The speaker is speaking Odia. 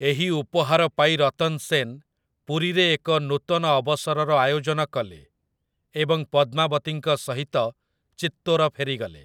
ଏହି ଉପହାର ପାଇ ରତନ୍ ସେନ୍ ପୁରୀରେ ଏକ ନୂତନ ଅବସରର ଆୟୋଜନ କଲେ ଏବଂ ପଦ୍ମାବତୀଙ୍କ ସହିତ ଚିତ୍ତୋର ଫେରିଗଲେ ।